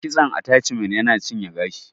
Kitson ataciman yana cinye gashi